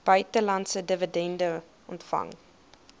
buitelandse dividende ontvang